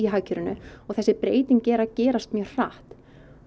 hagkerfinu og þessar breytingar eru að gerast mjög hratt